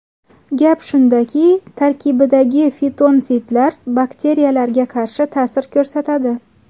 Gap shundaki, tarkibidagi fitonsidlar bakteriyalarga qarshi ta’sir ko‘rsatadi.